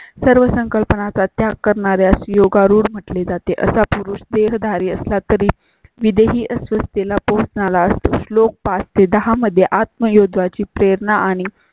सर्व संकल्पना चा त्याग करणार्यास योगारूढ म्हटले जाते असा पुरुष देह धारी असला तरी विदेही असुरतेला पोहोचलेला असतो. श्लोक पाच ते दहा मध्ये आत्म युद्धा ची प्रेरणा आणि.